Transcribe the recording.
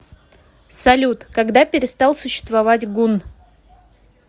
салют когда перестал существовать гунн